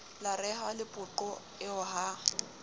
la rehwa lepoqo eo ha